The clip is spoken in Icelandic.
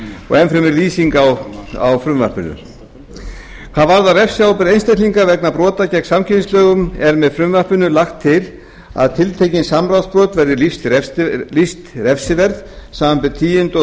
og enn fremur lýsing á frumvarpinu hvað varðar refsiábyrgð einstaklinga vegna brota gegn samkeppnislögum er með frumvarpinu lagt til að tiltekin samráðsbrot verði lýst refsiverð samanber tíundu og